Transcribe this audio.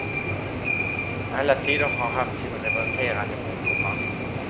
Alla tider har haft sina revolterande ungdomar.